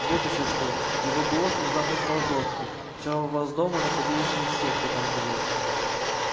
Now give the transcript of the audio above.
вот ещё что его голос внезапно стал жёстким вчера у вас дома находились не все кто там живёт